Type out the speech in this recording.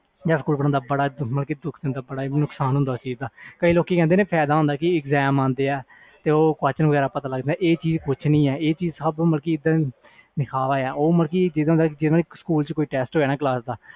ਬੜਾ ਦੁੱਖ ਦਿੰਦਾ ਸੀ ਬੜਾ ਨੁਕਸਾਨ ਹੁੰਦਾ ਸੀ ਕਈ ਲੋਕੀ ਕਹਿੰਦੇ ਫਾਇਦਾ ਹੁੰਦਾ ਆ ਜਦੋ eaxm ਹੁੰਦੇ ਆ question ਵਗੈਰਾ ਪਤਾ ਲੱਗ ਜਾਂਦਾ ਆ ਇਹ ਚੀਜ਼ ਕੁਛ ਨਹੀਂ ਆ ਆਹ ਸਬ ਦਿਖਾਵਾ ਆ